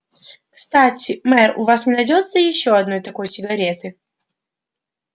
кстати мэр у вас не найдётся ещё одной такой сигареты